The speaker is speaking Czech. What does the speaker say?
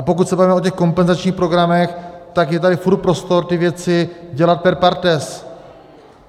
A pokud se bavíme o těch kompenzačních programech, tak je tady furt prostor ty věci dělat per partes.